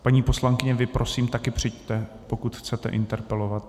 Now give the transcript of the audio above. Paní poslankyně, vy prosím také přijďte, pokud chcete interpelovat.